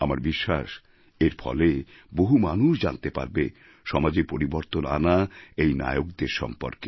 আমার বিশ্বাস এর ফলে বহু মানুষ জানতে পারবে সমাজে পরিবর্তন আনা এই নায়কদের সম্পর্কে